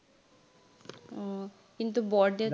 উম কিন্তু বৰদেউতাই